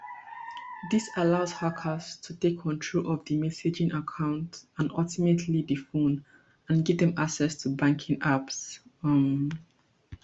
dis allow hackers to take control of di messaging account and ultimately di phone and give dem access to banking apps um